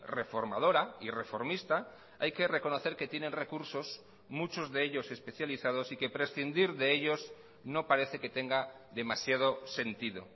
reformadora y reformista hay que reconocer que tienen recursos muchos de ellos especializados y que prescindir de ellos no parece que tenga demasiado sentido